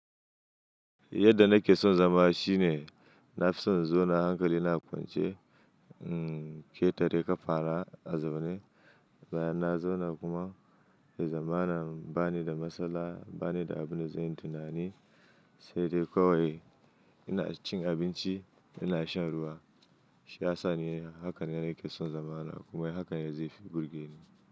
Yadda na ke son zama shine, na fi son in zauna hankali na kwance, in ƙetare ka fara a zaune. Na zauna kuma ya zamana ba ni da matsala, ba ni da abin da zai yi tunani, sai dai kawai ina cin abinci, ina shan ruwa. Shi ya sa ne haka ne nake son zama na kuma hakan ne zai fi burge ni.